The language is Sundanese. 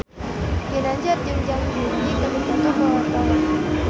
Ginanjar jeung Zang Zi Yi keur dipoto ku wartawan